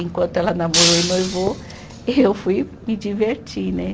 Enquanto ela namorou e noivou, eu fui me divertir né.